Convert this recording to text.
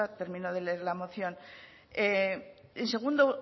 termino de leer la moción y en segundo